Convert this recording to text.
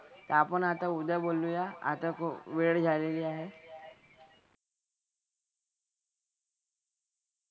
आपण आता उद्या बोलूया. आता खूप वेळ झालेली आहे.